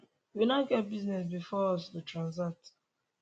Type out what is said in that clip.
we no get business bifor us to transact